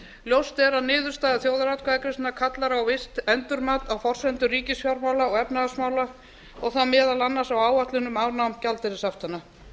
ljóst er að niðurstaða þjóðaratkvæðagreiðslunnar kallar á visst endurmat á forsendum ríkisfjármála og efnahagsmála og þá meðal annars á áætlun um afnám gjaldeyrishaftanna